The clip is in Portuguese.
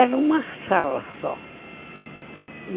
Era uma sala só.